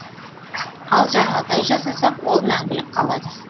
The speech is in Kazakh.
ал жаңағыдай жасасақ ол мәңгілік қалады